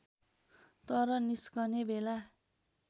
तर निस्कने बेला